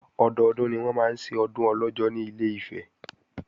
Ọdọdún ni wọ́n máa ń ṣe Ọdún Ọlọ́jọ́ ní Ilé-Ifẹ̀